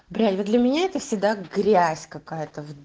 бля вот для меня это всегда грязь какая-то вот